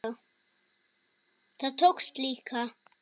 Það tókst líka.